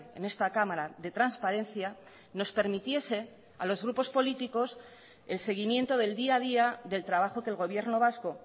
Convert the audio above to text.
en esta cámara de transparencia nos permitiese a los grupos políticos el seguimiento del día a día del trabajo que el gobierno vasco